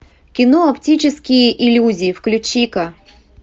кино оптические иллюзии включи ка